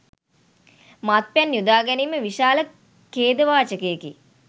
මත්පැන් යොදා ගැනීම විශාල ඛේදවාචකයකි.